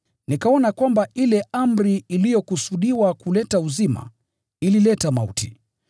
Nikaona kwamba ile amri iliyokusudiwa kuleta uzima, ilileta mauti.